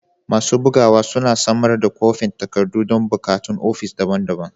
Masu bugawa suna samar da kwafin takardu don buƙatun ofis daban-daban.